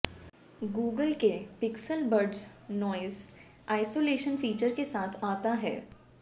Google के Pixel Buds noise isolation feature के साथ आता है